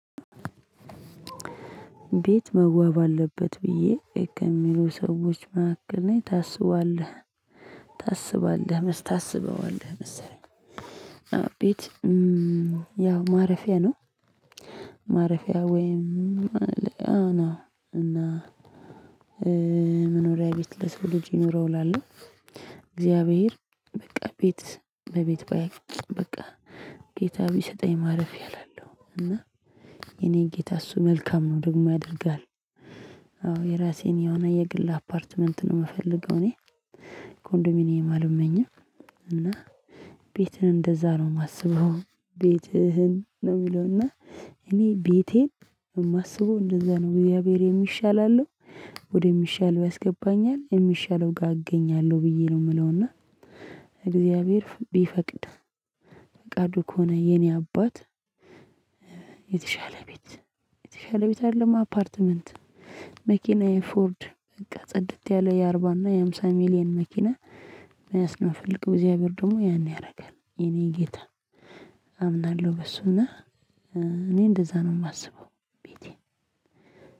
ቤት መዋብ አለበት ብዬ ከሚሉ ሰዎች መሃከል ነኝ ታስባለህ ታስባለህ ታስበዋለህ መሰለኝ። ቤት ያው ማረፊያ ነው። ማረፊያ ወይም አና እና መኖሪያ ቤት ለሰው ልጅ ይኖረው እላለሁ። እግዚአብሔር በቃ ቤት ለቤት ባይ በቃ ጌታ ቢሰጠኝ ማረፊያ እላለሁ። እና የኔ ጌታ እሱ መልካም ነው ደግሞ ያደርጋል። አዎ የራሴን የሆነ የግል አፓርትመንት ነው የምፈልገው እኔ እኔ ኮንዶሚኒየም አልመኝም። እና ቤትህን እንደዛ ነው የማስበው። ቤትህን ነው የሚለው እና እኔ ቤቴን የማስበው እንደዛ ነው እግዛብሄር የሚሻል አለው። ወደሚሻል ያስገባኛል የሚሻለው ጋር እገኛለሁ ብዬ ነው የምለውና። እግዚአብሔር ቢፈቅድ። ፍቃዱ ከሆነ የኔ አባት። የተሻለ ቤት የተሻለ ቤት አይደለም አፓርትመንት። መኪና ፎርድ በቃ ጽድት ያለ የአርባ እና የሃምሳ ሚሊየን መኪና። የሚያስነፍልቅ እግዚአብሔር ደግሞ ያን ያደርጋል የኔ ጌታ አምናለሁ በሱና። እኔ እንደዛ ነው የማስበው። ቤቴን